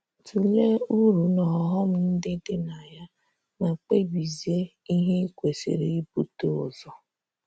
Tụlee uru na ọghọm ndị dị na ya, ma kpebizie ihe i kwesịrị ibute ụzọ.